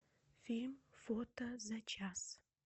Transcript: фильм фото за час